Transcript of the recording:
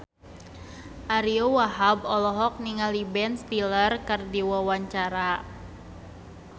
Ariyo Wahab olohok ningali Ben Stiller keur diwawancara